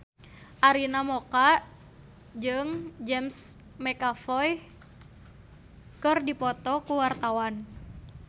Arina Mocca jeung James McAvoy keur dipoto ku wartawan